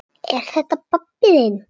Er þetta pabbi þinn?